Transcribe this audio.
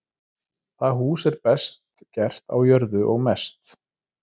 Það hús er best gert á jörðu og mest.